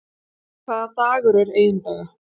Hvaða dagur er eiginlega?